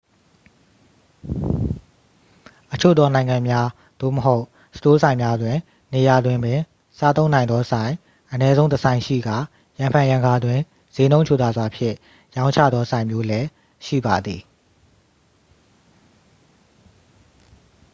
အချို့သောနိုင်ငံများ သို့မဟုတ် စတိုးဆိုင်များတွင် နေရာတွင်ပင်စားသုံးနိုင်သောဆိုင် အနည်းဆုံးတစ်ဆိုင်ရှိကာ ရံဖန်ရံခါတွင် စျေးနှုန်းချိုသာစွာဖြင့်ရောင်းချသောဆိုင်မျိုးလည်း ရှိပါသည်